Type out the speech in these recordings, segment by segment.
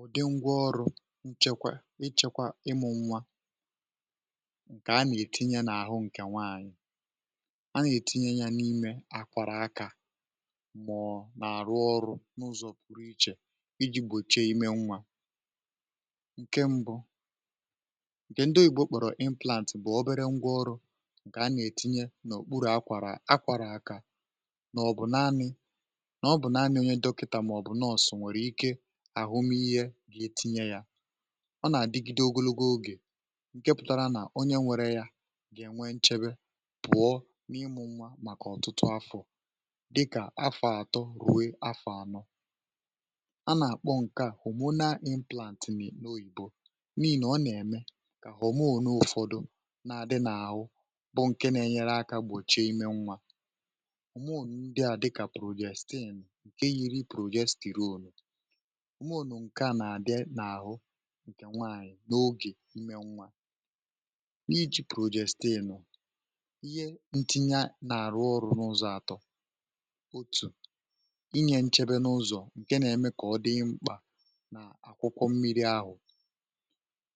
ụ̀dị ngwa ọrụ̇ nchekwa, ichekwa ịmụ̇ nwa ǹkè a nà-ètinye n’àhụ ǹkè nwaànyị̀ a nà-ètinye ya n’ime àkwàrà akȧ màọ̀ọ̀ nà-àrụ ọrụ̇ n’ụzọ̀ pụrụ ichè iji̇ gbòchie ime nwa ǹke mbụ ǹkè ndị́ ùgbò kpọ̀rọ̀ implant bụ̀ ọbere ngwa ọrụ̇ ǹkè a nà-ètinye n’òkpuru akwàrà akwàrà akȧ um naanị onye dọkịtà maọ̀bụ̀ nọọ̀sụ̀ nwèrè ike àhụ m ihe dị̇ etinye yȧ ọ nà-àdigide ogologo ogè ǹke pụtara nà onye nwere yȧ gà-ènwe nchebe pụ̀ọ n’ịmụ̇ nwa màkà ọ̀tụtụ afọ̀ dịkà afọ̀ àtọ ruwe afọ̀ anọ a nà-àkpọ ǹke à homonu plant n’oyibo n’ihì nà ọ nà-ème kà homo n’ụ̀fọdụ na-àdị n’àhụ bụ ǹke na-enyere akȧ gbòchie imė nwa ǹke yiri projekti ruolu̇ ǹke à nà-àdị n’àhụ ǹkè nwaànyị̀ n’ogè nme nwa n’iji̇ projektiịnụ̀ nọ̀ ihe ntinye n’àrụ ọrụ̇ n’ụzọ̇ àtọ̇ otù inyė nchebe n’ụzọ̀ ǹke nà-eme kà ọ dị mkpà n’àkwụkwọ mmiri ahụ̀ um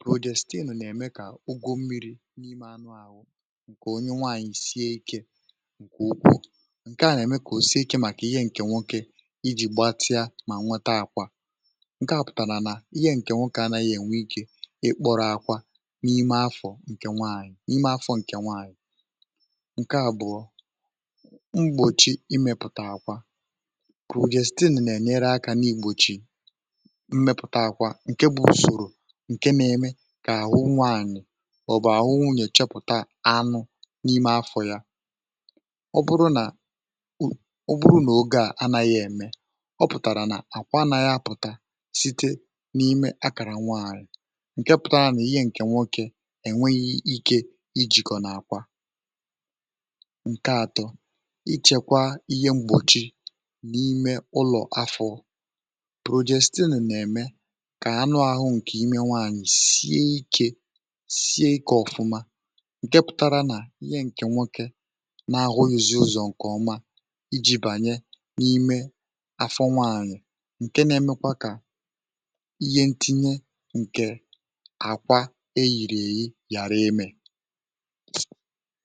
projektiịnụ̀ n’ème kà ụgwọ mmiri̇ n’ime anụ̇ àhụ ǹkè onye nwaànyị̀ sie ikė ǹkè ukwuù ǹke à nà-ème kà òsie ikė màkà ihe ǹkè nwoke ǹke à pụ̀tàrà nà i gė ǹkè nwụkà anaghị ènwe ikė ikpọ̇rọ̇ akwȧ n’ime afọ̇ ǹkè nwaànyị̀ um ǹke à bụ̀ọ mgbòchi imėpụ̀tà àkwà bụ̀ ò je site nè nà-ènyere akȧ n’igbòchi mmėpụ̀tà àkwà ǹke bụ̇ ùsòrò ǹke na-eme kà àhụ nwaànyị̀ ọ̀bụ̀-àhụ nwụnye chepụ̀ta anụ̇ n’ime afọ̇ yȧ ọ bụrụ nà ọ pụ̀tàrà nà àkwa nà ya pụ̀ta site n’ime akàrà nwaàrị̀ ǹke pụ̀tara nà ihe ǹkè nwokė um ènweghi ike ijìkọ n’àkwà ǹke ȧtọ̇ ichėkwa ihe mgbọ̀chi n’ime ụlọ̀ afọ̇ụ̇ projestiìn nà-ème kà anụ ȧhụ̇ ǹkè ime nwaàrị̀ sie ikė sie ikė ọ̀fụma ǹke pụ̀tara nà ihe ǹkè nwokė na ahụ yȧzi ụzọ̀ ǹkè ọma iji̇ bànye n’ime ǹke na-emekwa kà ihe ntinye ǹkè àkwa e yìrì èyi ghàra imė.